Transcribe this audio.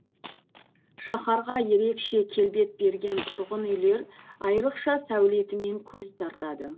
шаһарға ерекше келбет берген тұрғын үйлер айрықша сәулетімен көз тартады